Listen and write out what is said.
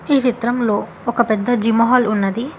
ఈ చిత్రంలో ఒక పెద్ద జిమొహాల్ ఉన్నది.